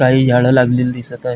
काही झाड लागलेली दिसत आहे.